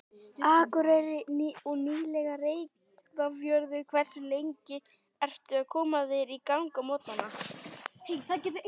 Akureyri og nýlega Reyðarfjörður Hversu lengi ertu að koma þér í gang á morgnanna?